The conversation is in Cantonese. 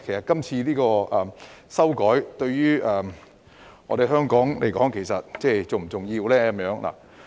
今次這項修訂法例對於香港是否重要呢？